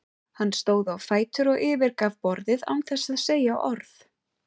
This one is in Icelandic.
Hann stóð á fætur og yfirgaf borðið án þess að segja orð.